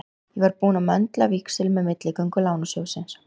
Ég var búinn að möndla víxil með milligöngu Lánasjóðsins.